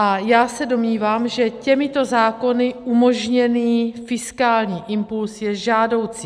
A já se domnívám, že těmito zákony umožněný fiskální impuls je žádoucí.